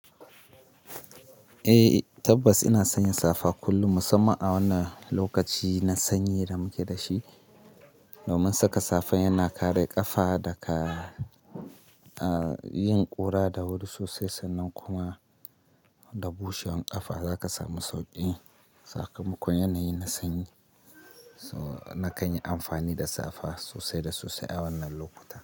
Eh tabbas ina sanya safa kullum musamman a wannan lokaci na sanyi da muke da shi. Domin saka safa yana kare ƙafa daga yin ƙura da wuri sosai sannan kuma da bushewan ƙafa za ka samu sauƙi. Sakamakon yanayin na sanyi. Na kai ni amfani da safa sosai da sosai a wannan lokuta.